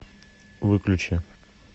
выключи